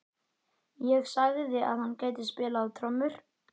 Ég sagði að hann gæti spilað á trommur.